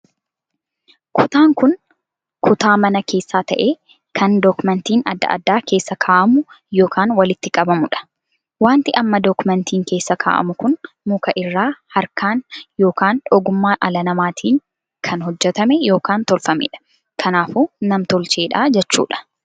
Kutaan kun kutaa mana keessaa tahee kan dookimeentiin addaa addaa keessa kaa'amu ykn walitti qabamuudha. wanti amma dookimeentii keessa kaa'amu kun muka irraa harka ykn ogummaa dhala namaatiin kan hojjetame ykn tolfameedha. kanaafuu nam-tolcheedha jechuudha.